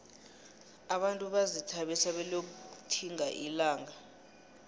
abantu bazithabisa beliyokutkhimga ilanaga